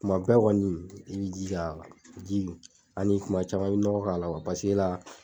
Kuma bɛɛ kɔni i b'i jija ji ani kuma caman i bɛ nɔgɔ k'a la paseke la